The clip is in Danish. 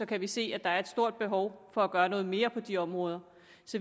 kan vi se at der er et stort behov for at gøre noget mere på de områder